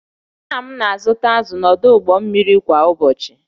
Nna m na-azụta azụ̀ n’ọdụ ụgbọ mmiri kwa ụbọchị